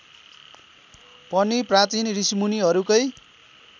पनि प्राचीन ऋषिमुनिहरूकै